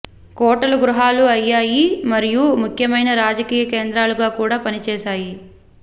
కోటలు గృహాలు అయ్యాయి మరియు ముఖ్యమైన రాజకీయ కేంద్రాలుగా కూడా పనిచేశాయి